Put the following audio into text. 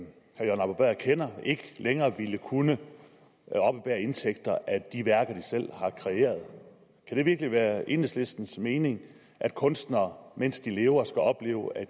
arbo bæhr kender ikke længere ville kunne oppebære indtægter af de værker de selv har kreeret kan det virkelig være enhedslistens mening at kunstnere mens de lever skal opleve at